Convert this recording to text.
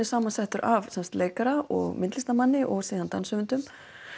samansettur af leikara og myndlistarmanni og síðan danshöfundum